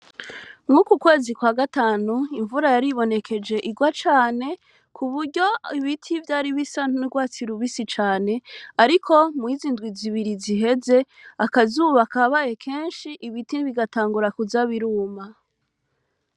Muri uku kwezi kwa gatanu, imvura yaribonekeje irwa cane, kuburyo ibiti vyari bisa n'urwatsi rubisi cane. Ariko muri izi ndwi zibiri ziheze, akazuba kabaye kenshi ibiti bigatangura kuza biruma.